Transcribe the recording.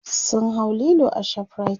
sun hau Lilo a shoprite